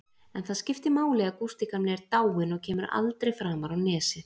En það skiptir máli að Gústi gamli er dáinn og kemur aldrei framar á Nesið.